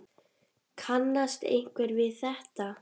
Kannast einhver við þetta?